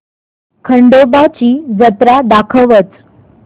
खंडोबा ची जत्रा दाखवच